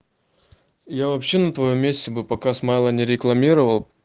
я вообще на твоём месте бы пока смайлы не рекламировал